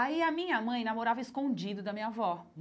Aí a minha mãe namorava escondido da minha avó.